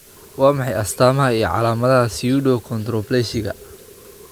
Waa maxay astamaha iyo calaamadaha Pseudoachondroplasiga?